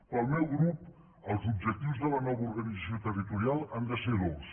pel meu grup els objectius de la nova organització territorial han de ser dos